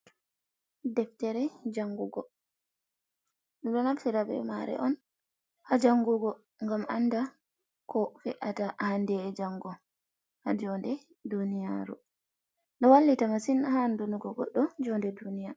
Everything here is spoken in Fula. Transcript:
Deftere jangugo, ɓe ɗo naftira be mare un ha jangugo ngam anda ko fe’ata hande’e jango ha jonde duniyaru, ɗo wallita masin ha andonugo goɗɗo jonɗe duniyaru.